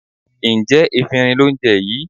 Ǹjẹ́ efinrin lò ń jẹ yìí?